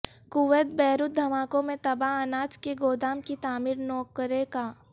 Kuwait Beirut دھماکوں میں تباہ اناج کے گودام کی تعمیر نو کرے گا